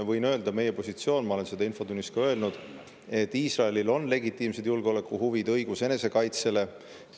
Võin öelda, et meie positsioon – ma olen seda infotunnis ka öelnud – on, et Iisraelil on legitiimsed julgeolekuhuvid, õigus enesekaitsele.